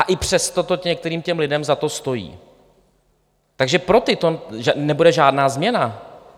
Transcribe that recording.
A i přesto to některým těm lidem za to stojí, takže pro ty to nebude žádná změna.